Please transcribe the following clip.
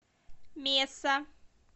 меса